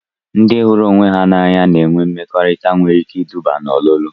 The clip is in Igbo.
Ndị hụrụ onwe ha n'anya na-enwe mmekọrịta nwere ike iduba n'ọlulu